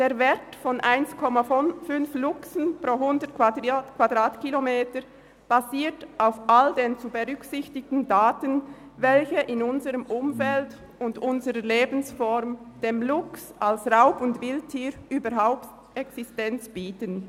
Der Wert von 1,5 Luchsen pro 100 Quadratkilometer basiert auf all den zu berücksichtigenden Faktoren, die in unserem Umfeld und unserer Lebensform dem Luchs als Raub- und Wildtier überhaupt eine Existenz ermöglichen.